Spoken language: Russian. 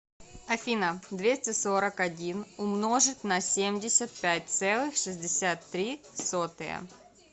афина двести сорок один умножить на семьдесят пять целых шестьдесят три сотые